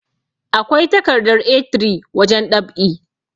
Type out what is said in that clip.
akwai takardar A3 wajen ɗab'i